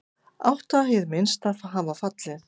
Átta hið minnsta hafa fallið.